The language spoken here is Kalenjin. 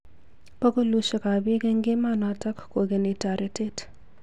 Bokolushek ab bik eng emonotok kokeni toretet.